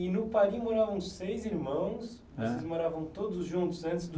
E no Paris moravam seis irmãos, Hã Vocês moravam todos juntos antes do